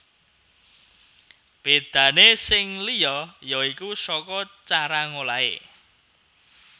Bédané sing liya ya iku saka cara ngolahé